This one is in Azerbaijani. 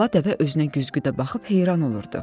Bala dəvə özünə güzgüdə baxıb heyran olurdu.